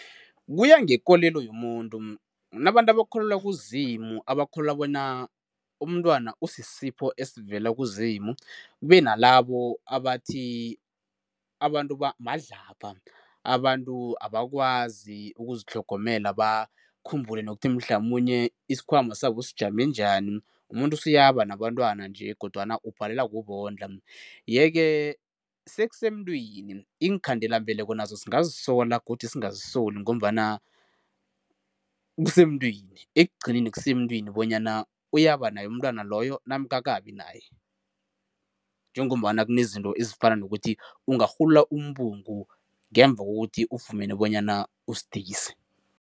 Kuya ngekolelo yomuntu. Kunabantu abakholelwa kuZimu, abakholelwa bona umntwana usisipho esivela kuZimu. Kube nalabo abathi abantu madlabha abantu abakwazi ukuzitlhogomela bakhumbule nokuthi mhlamunye isikhwama sabo sijame njani, umuntu usuyaba nabentwana nje kodwana ubhalelwa kubondla, yeke sekusemntwini. Iinkhandelambeleko nazo singazisola godi singazisoli ngombana kusemntwini, ekugcineni kusemuntwini bonyana uyaba naye umntwana loyo namkha akabi naye njengombana kunezinto ezifana nokuthi ungarhulula umbungu ngemva kokuthi ufumene bonyana usidisi.